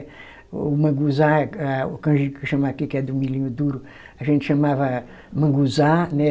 O manguzá, a o canjica chama aqui, que é do milhinho duro, a gente chamava manguzá, né?